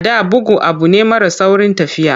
A da, bugu abu ne mara saurin tafiya.